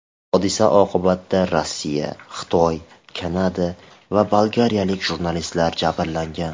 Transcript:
Hodisa oqibatida Rossiya, Xitoy, Kanada va bolgariyalik jurnalistlar jabrlangan.